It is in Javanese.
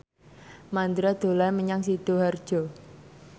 Mandra dolan menyang Sidoarjo